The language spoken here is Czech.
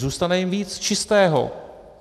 Zůstane jim víc čistého.